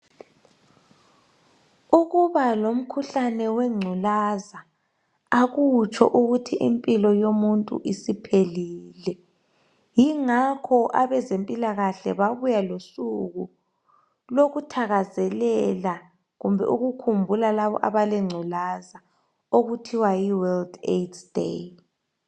Ukuba lomkhuhlane wengculaza akutsho ukuthi impilo yomuntu isiphelile .Yingakho abezempilakahle babuya losuku lokuthakazelela kumbe ukukhumbula labo abale ngculaza okuthiwa yi World AIDS Day.